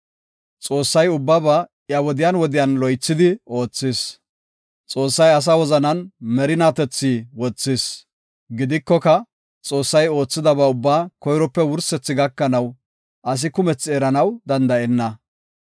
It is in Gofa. Xoossay ubbaba iya wodiyan wodiyan loythidi oothis. Xoossay asa wozanan merinatethi wothis; gidikoka, Xoossay oothidaba ubbaa koyrope wursethi gakanaw, asi kumethi eranaw danda7enna.